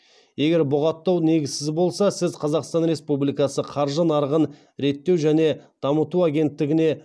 егер бұғаттау негізсіз болса сіз қазақстан республикасы қаржы нарығын реттеу және дамыту агенттігіне